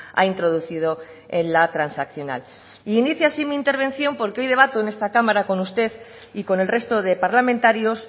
ha introducido en la transaccional y inicio así mi intervención porque hoy debato en esta cámara con usted y con el resto de parlamentarios